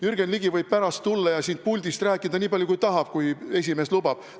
Jürgen Ligi võib pärast tulla ja siit puldist rääkida nii palju, kui tahab, kui esimees lubab.